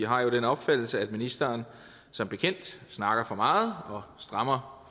har jo den opfattelse at ministeren som bekendt snakker for meget og strammer